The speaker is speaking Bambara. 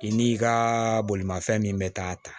I n'i ka bolimafɛn min bɛ k'a ta